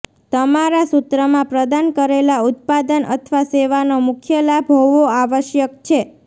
તમારા સૂત્રમાં પ્રદાન કરેલા ઉત્પાદન અથવા સેવાનો મુખ્ય લાભ હોવો આવશ્યક છે